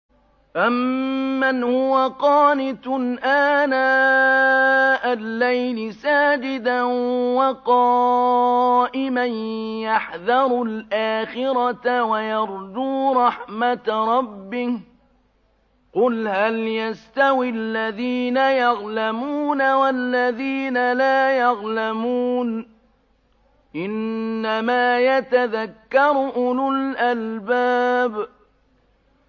أَمَّنْ هُوَ قَانِتٌ آنَاءَ اللَّيْلِ سَاجِدًا وَقَائِمًا يَحْذَرُ الْآخِرَةَ وَيَرْجُو رَحْمَةَ رَبِّهِ ۗ قُلْ هَلْ يَسْتَوِي الَّذِينَ يَعْلَمُونَ وَالَّذِينَ لَا يَعْلَمُونَ ۗ إِنَّمَا يَتَذَكَّرُ أُولُو الْأَلْبَابِ